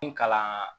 N kalan